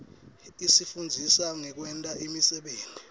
isifundzisa ngekwenta imisebenti